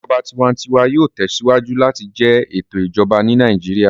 Ìjọba tiwantiwa yóò tẹsíwájú láti jẹ ètò Ìjọba ní Nàìjíríà